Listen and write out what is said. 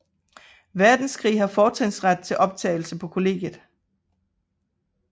Verdenskrig har fortrinsret til optagelse på kollegiet